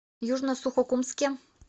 южно сухокумске